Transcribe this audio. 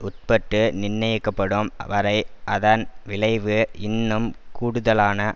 உட்பட்டு நிர்ணயிக்கப்படும் வரை அதன் விளைவு இன்னும் கூடுதலான